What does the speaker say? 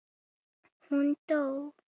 Þótt hún þegi.